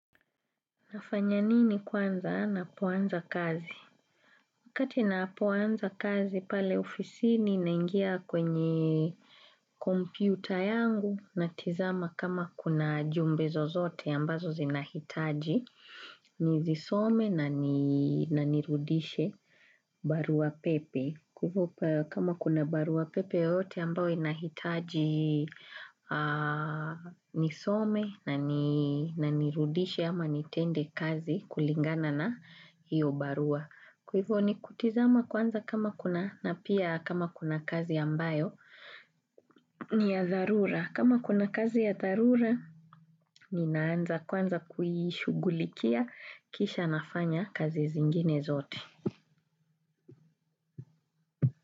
Nafanya nini kwanza napoanza kazi? Wakati napoanza kazi, pale ofisini naingia kwenye kompyuta yangu natizama kama kuna jumbe zozote ambazo zinahitaji nizisome na nirudishe barua pepe kama kuna barua pepe yoyote ambao inahitaji nisome na nirudishe ama nitende kazi kulingana na hiyo barua. Kwa hivyo ni kutizama kwanza kama kuna na pia kama kuna kazi ambayo ni ya dharura. Kama kuna kazi ya dharura ni naanza kwanza kuishugulikia kisha nafanya kazi zingine zote.